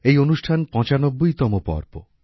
এই অনুষ্ঠান পঁচানব্বইতম পর্ব